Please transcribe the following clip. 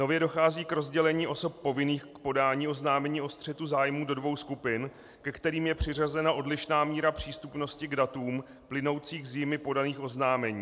Nově dochází k rozdělení osob povinných k podání oznámení o střetu zájmů do dvou skupin, ke kterým je přiřazena odlišná míra přístupnosti k datům plynoucím z jimi podaných oznámení.